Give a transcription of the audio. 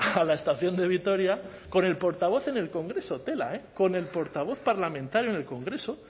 a la estación de vitoria con el portavoz en el congreso tela con el portavoz parlamentario en el congreso